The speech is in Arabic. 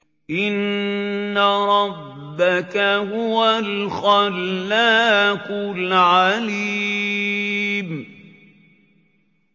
إِنَّ رَبَّكَ هُوَ الْخَلَّاقُ الْعَلِيمُ